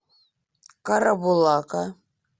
карабулака